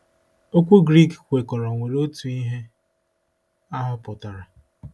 Okwu Greek kwekọrọ nwere otu ihe ahụ pụtara.